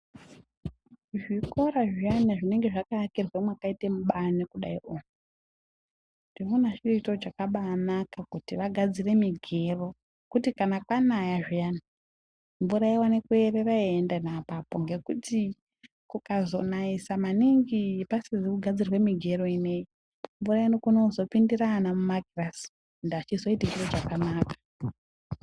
Zvikora zviyani zvinonga zvakaakirwa mwakaita mubani kudai ,ndinoona chiri chiro chakabaanaka kuti vagadzire migero ,kuti kana kwanaya zviyani mvura yoona kunaya yeierera yeienda ngapapo. Ngekuti kukazonaisa maningi pasizi kugadzirwa migero ineyi mvura inokone kuzopindira ana mumakirasi ende azvizoiti chiro chakanaka.